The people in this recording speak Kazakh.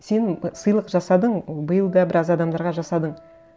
сен сыйлық жасадың биыл да біраз адамдарға жасадың